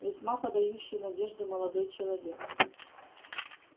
весьма подающий надежды молодой человек